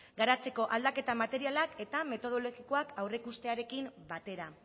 garatzeko aldaketa materialak eta metodologikoak aurreikustearekin batera